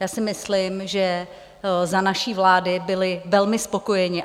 Já si myslím, že za naší vlády byli velmi spokojeni.